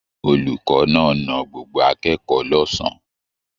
Olùkọ́ náà na gbogbo akẹ́kọ̀ọ́ lọ̀sán.